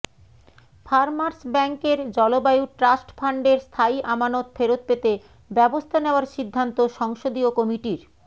farmers ব্যাংকের জলবায়ু trust ফান্ডের স্থায়ী আমানত ফেরত পেতে ব্যবস্থা নেওয়ার সিদ্ধান্ত সংসদীয় কমিটির